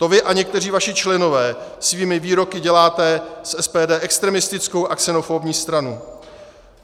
To vy a někteří vaši členové svými výroky děláte z SPD extremistickou a xenofobní stranu.